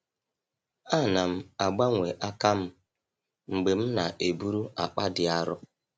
Ana m agbanwe aka m mgbe m na-eburu akpa dị arọ.